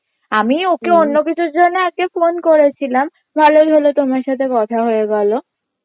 আমি ওকে অন্য কিছুর জন্যে আজকে phone করেছিলাম ভালোই হলো তোমার সাথে কথা হয়ে গেলো